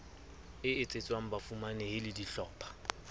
e etsetswang bafumanehi le dihlopha